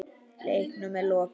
Leiknum er lokið.